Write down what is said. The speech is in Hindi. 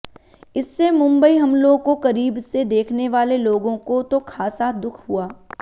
इससे मुंबई हमलों को क़रीब से देखने वाले लोगों को तो ख़ासा दुख हुआ